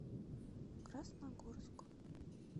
красногорск